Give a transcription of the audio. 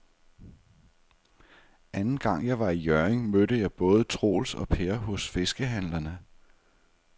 Anden gang jeg var i Hjørring, mødte jeg både Troels og Per hos fiskehandlerne.